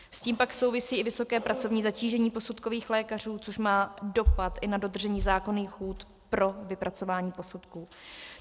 S tím pak souvisí i vysoké pracovní zatížení posudkových lékařů, což má dopad i na dodržení zákonných lhůt pro vypracování posudků.